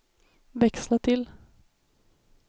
växla till